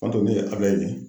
N'o tɛ ne ye Abulɛyi ye